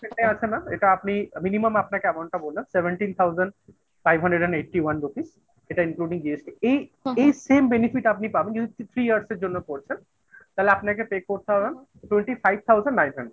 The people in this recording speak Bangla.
আছে mam এটা আপনি minimum আপনাকে এমনটা বললাম seventeen thousand five hundred and eighty one rupees এটা including GST এই. এই same benefits আপনি পাবেন যদি three years এর জন্য করছেন তাহলে আপনাকে pay করতে হবে twenty five thousand nine hundred